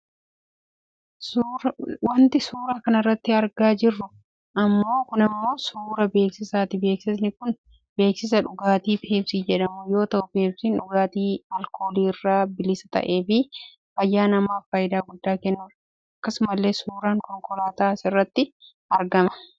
Wantin suuraa kanarratti argaa jiru kun ammoo suuraa beeksisaati beeksisini kun beeksisa dhugaatii peepsii jedhamuu yoo ta'u peepsiin dhugaatii aalkooliirra bilisa ta'eefi fayyaa namaaf fayidaa guddaa kennudha. Akkasumallee suuraan konkolaataa asirratti argama.